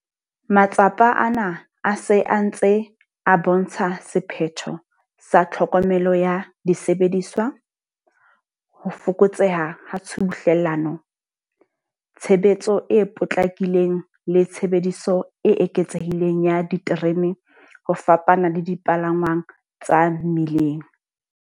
Matsapa ana a se a ntse a bo ntsha sephetho sa tlhokomelo ya disebediswa, ho fokotseha ha tshubuhlellano, tshebetso e potlakileng le tshebediso e eketsehileng ya diterene ho fapana le dipalangwang tsa mmileng.